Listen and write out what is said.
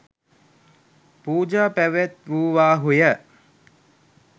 පූජා පැවැත්වූවාහු ය